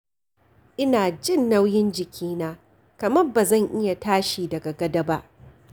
Ina jin nauyin jikina, kamar ba zan iya tashi daga gado ba.